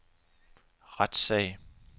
retssag